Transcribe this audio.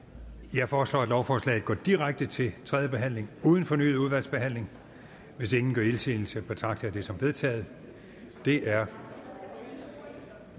jeg foreslår at lovforslaget går direkte til tredje behandling uden fornyet udvalgsbehandling hvis ingen gør indsigelse betragter jeg det som vedtaget det er